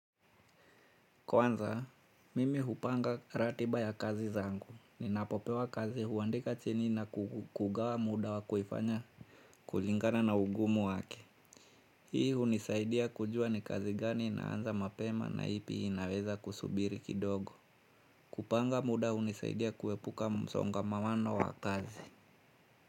Kwanza, mimi hupanga ratiba ya kazi zangu. Ninapopewa kazi huandika chini na kugawa muda wa kuifanya kulingana na ugumu wake. Hii hunisaidia kujua ni kazi gani inaanza mapema na ipi inaweza kusubiri kidogo. Kupanga muda hunisaidia kuepuka msongamawano wa kazi.